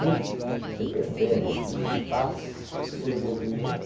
Tempo, você percebe que ele passa por um movimento...